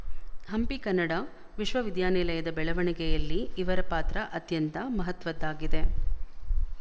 ಹಂಪಿ ಕನ್ನಡ ವಿಶವವಿದ್ಯಾನಿಲಯದ ಬೆಳವಣಿಗೆಯಲ್ಲಿ ಇವರ ಪಾತ್ರ ಅತ್ಯಂತ ಮಹತ್ವದ್ದಾಗಿದೆ